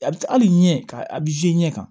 A bɛ hali ɲɛ ka a ɲɛ kan